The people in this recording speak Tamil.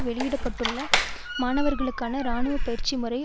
வெளியிட்டுள்ள மாணவர்களுக்கான இராணுவ பயிற்சி முறை